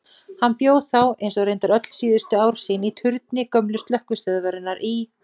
Hann bjó þá, eins og reyndar öll síðustu ár sín, í turni gömlu slökkvistöðvarinnar í